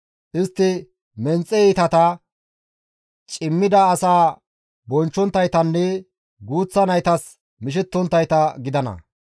Istti menxe iitata, cimmida asaa bonchchonttaytanne guuththa naytas mishettonttayta gidana.